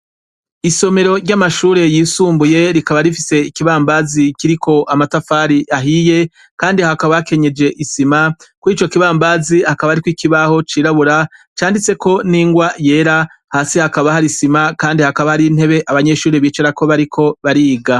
Isomero ry'amashure y'isumbuye, rikaba rifise ikibambazi kiriko amatafari ahiye, kandi hakaba hakenyeje isima, kurico kibambazi hakaba hariko ikibaho c'irabura, canditseko n'ingwa yera, hasi hakaba hari isima, kandi hakaba hari n'intebe abanyeshure bicarako bariko bariga.